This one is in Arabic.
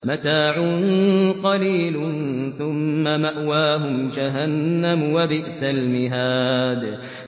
مَتَاعٌ قَلِيلٌ ثُمَّ مَأْوَاهُمْ جَهَنَّمُ ۚ وَبِئْسَ الْمِهَادُ